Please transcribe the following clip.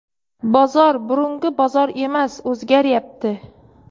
Bozor – burungi bozor emas, o‘zgaryapti.